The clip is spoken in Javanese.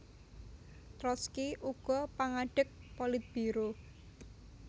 Trotski uga pangadeg Politbiro